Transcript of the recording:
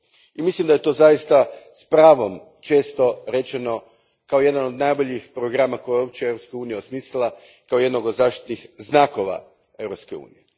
I mislim da je to zaista s pravom često rečeno kao jedan od najboljih programa koji je uopće Europska unija osmislila, kao jedan od zaštitnih znakova Europske unije.